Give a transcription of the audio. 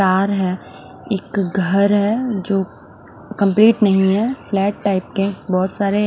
तार है एक घर है जो कम्पलीट नही है फ्लैट टाइप के बोहोत सारे--